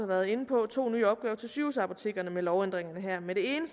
været inde på to nye opgaver til sygehusapotekerne med lovændringerne her med det ene